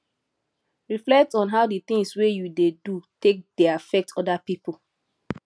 reflect on how di things wey you dey do take dey affect oda pipo